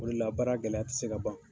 O le la baara gɛlɛya tɛ se ka ban.